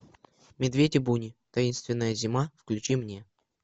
медведи буни таинственная зима включи мне